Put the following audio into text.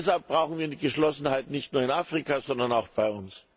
Deshalb brauchen wir Geschlossenheit nicht nur in Afrika, sondern auch bei uns.